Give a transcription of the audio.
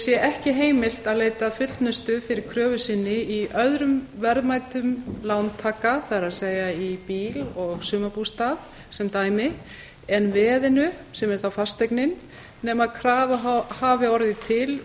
sé ekki heimilt að leita fullnustu fyrir kröfu sinni í öðrum verðmætum lántaka það er í bíl og sumarbústað sem dæmi en veðinu sem er þá fasteignin nema krafa hafi orðið til